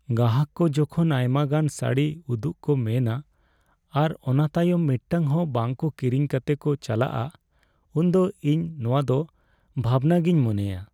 ᱜᱟᱦᱟᱠ ᱠᱚ ᱡᱚᱠᱷᱚᱱ ᱟᱭᱢᱟᱜᱟᱱ ᱥᱟᱲᱤ ᱩᱫᱩᱜ ᱠᱚ ᱢᱮᱱᱼᱟ ᱟᱨ ᱚᱱᱟ ᱛᱟᱭᱚᱢ ᱢᱤᱫᱴᱟᱝ ᱦᱚᱸ ᱵᱟᱝ ᱠᱚ ᱠᱤᱨᱤᱧ ᱠᱟᱛᱮ ᱠᱚ ᱪᱟᱞᱟᱣᱚᱜᱼᱟ, ᱩᱱᱫᱚ ᱤᱧ ᱱᱚᱣᱟᱫᱚ ᱵᱷᱟᱵᱽᱱᱟᱜᱮᱧ ᱢᱚᱱᱮᱭᱟ ᱾